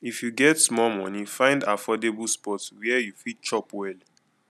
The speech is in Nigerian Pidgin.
if you get small money find affordable spot where you fit chop well